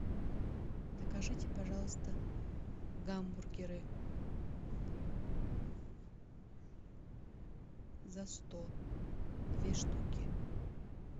закажите пожалуйста гамбургеры за сто две штуки